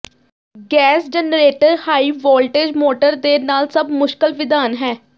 gas generator high voltage motor ਦੇ ਨਾਲ ਸਭ ਮੁਸ਼ਕਲ ਵਿਧਾਨ ਹੈ